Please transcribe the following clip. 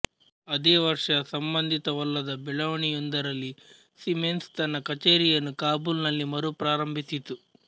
ಅದೇ ವರ್ಷ ಸಂಬಂಧಿತವಲ್ಲದ ಬೆಳವಣಿಯೊಂದರಲ್ಲಿ ಸೀಮೆನ್ಸ್ ತನ್ನ ಕಚೇರಿಯನ್ನು ಕಾಬೂಲ್ ನಲ್ಲಿ ಮರುಪ್ರಾರಂಭಿಸಿತು